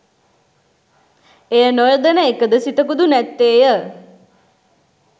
එය නොයොදෙන එකද සිතකුදු නැත්තේය.